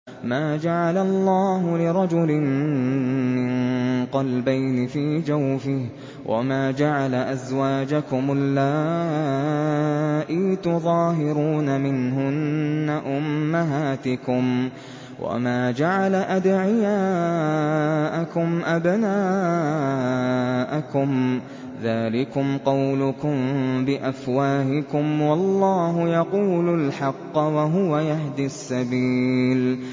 مَّا جَعَلَ اللَّهُ لِرَجُلٍ مِّن قَلْبَيْنِ فِي جَوْفِهِ ۚ وَمَا جَعَلَ أَزْوَاجَكُمُ اللَّائِي تُظَاهِرُونَ مِنْهُنَّ أُمَّهَاتِكُمْ ۚ وَمَا جَعَلَ أَدْعِيَاءَكُمْ أَبْنَاءَكُمْ ۚ ذَٰلِكُمْ قَوْلُكُم بِأَفْوَاهِكُمْ ۖ وَاللَّهُ يَقُولُ الْحَقَّ وَهُوَ يَهْدِي السَّبِيلَ